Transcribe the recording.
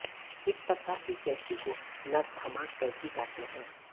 इसप्रकार की कैंची को नर थंमा कैंची कहते हैं